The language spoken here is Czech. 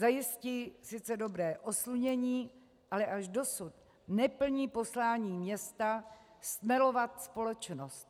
Zajistí sice dobré oslunění, ale až dosud neplní poslání města stmelovat společnost.